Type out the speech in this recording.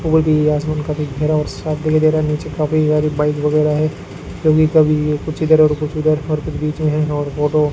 और भी आसमान काफी घिरा और साफ दिखाई दे रहा नीचे काफी सारी बाइक वगैरा है क्योंकि कभी कुछ इधर और कुछ उधर और कुछ बीच में है और बोडो --